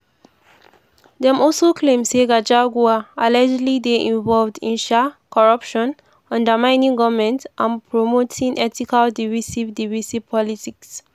dem also claim say gachahua allegedly dey involved in um corruption undermining goment and promoting ethnically divisive divisive politics.